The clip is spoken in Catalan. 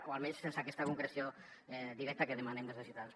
o almenys sense aquesta concreció directa que demanem des de ciutadans